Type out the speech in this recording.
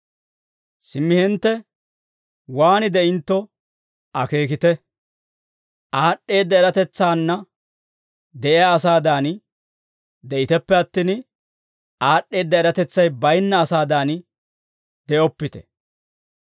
Simmi hintte waan de'intto akeekite; aad'd'eedda eratetsaanna de'iyaa asaadan de'iteppe attin, aad'd'eedda eratetsay bayinna asaadan de'oppite.